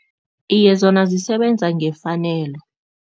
Iye, zona zisebenza ngefanelo.